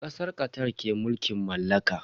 Kasar Qatar ke mulkin mallaka.